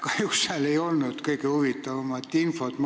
Kahjuks seal ei olnud kõige huvitavamat infot.